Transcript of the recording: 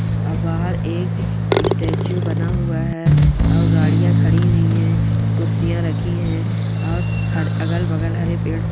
वाहार ए-एक स्टेचू बना हुआ है और गाड़ियां खड़ी हुई है कुर्सियां रखी हैं। और हर अगल-बगल हरे पेड़ पौ--